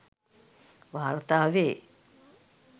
වාර්තා වේ.